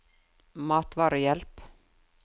matvarehjelp